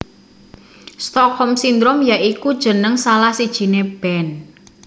Stockholm Syndrome ya iku jeneng salah sijine band